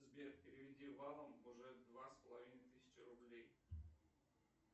сбер переведи валом уже два с половиной тысячи рублей